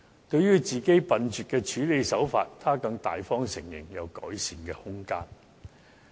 對於自己笨拙的處理手法，她更大方承認有改善的空間。